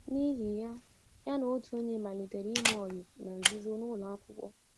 N’ihi ya, ya na otu onye malitere ime ọyị na nzuzo n’ụlọakwụkwọ.